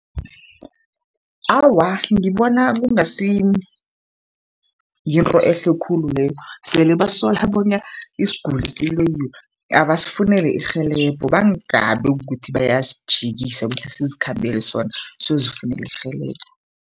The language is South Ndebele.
Awa, ngibona kungasi yinto ehle khulu leyo. Sele basola bona isiguli siloyiwe abasifunele irhelebho, bangabi kukuthi bayasijikisa kuthi sizikhambele sona siyozifunela irhelebho.